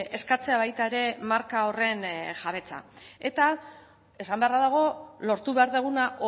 eskatzea baita ere marka horren jabetza eta esan beharra dago lortu behar duguna